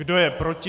Kdo je proti?